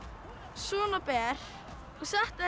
svona ber og setti það